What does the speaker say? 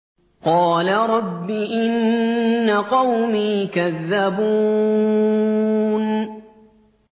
قَالَ رَبِّ إِنَّ قَوْمِي كَذَّبُونِ